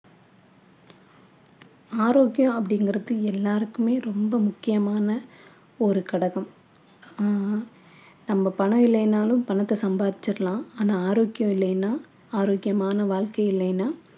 ஆரோக்கியம் அப்படிங்கிறது எல்லாருக்குமே ரொம்ப முக்கியமான ஒரு கடகம் ஆஹ் நம்ம பணம் இல்லைனாலும் பணத்தை சம்பாதிச்சிடலாம் ஆனா ஆரோக்கியம் இல்லைனா ஆரோக்கியமான வாழ்க்கை இல்லைனா